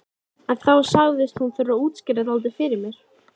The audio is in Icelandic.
En þá sagðist hún þurfa að útskýra dálítið fyrir mér.